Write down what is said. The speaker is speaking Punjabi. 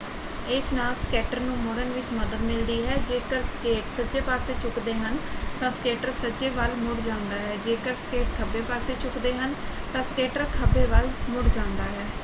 ਇਸ ਨਾਲ ਸਕੇਟਰ ਨੂੰ ਮੁੜਨ ਵਿੱਚ ਮਦਦ ਮਿਲਦੀ ਹੈ। ਜੇਕਰ ਸਕੇਟ ਸੱਜੇ ਪਾਸੇ ਝੁਕਦੇ ਹਨ ਤਾਂ ਸਕੇਟਰ ਸੱਜੇ ਵੱਲ ਮੁੜ ਜਾਂਦਾ ਹੈ ਜੇਕਰ ਸਕੇਟ ਖੱਬੇ ਪੱਸੇ ਝੁਕਦੇ ਹਨ ਤਾਂ ਸਕੇਟਰ ਖੱਬੇ ਵੱਲ ਮੁੜ ਜਾਂਦਾ ਹੈ।